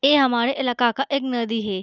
ये हमारे इलाका का एक नदी है।